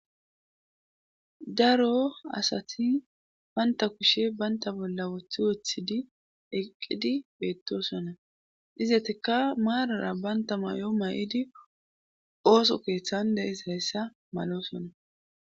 Daroasati bantta kushe bantta bolla wothi wothidi eqqid beettoosona izatikka maarar bantta mayo ma7idi ooso keethan de7izayssa maloosona.